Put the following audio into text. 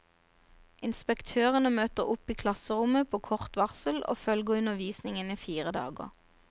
Inspektørene møter opp i klasserommet på kort varsel og følger undervisningen i fire dager.